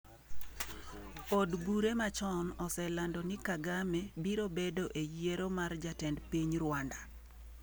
Od bure machon oselando ni Kagame biro bedo e yiero mar jatend piny Rwanda